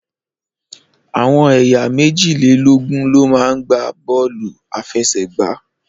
Àwọn ẹyà meji-le-logun lo ma gba bóòlù afesegba